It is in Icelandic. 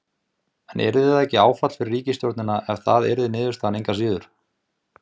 Heimir: En yrði það ekki áfall fyrir ríkisstjórnina ef það yrði niðurstaðan engu að síður?